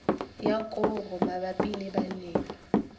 ya koro mabapi le balemi